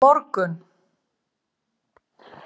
Á morgun